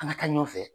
An ka taa ɲɔn fɛ